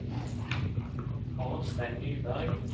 Arnstein Nyberg